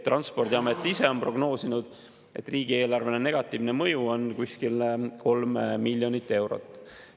Transpordiamet ise on prognoosinud, et negatiivne mõju riigieelarvele on kuskil 3 miljonit eurot.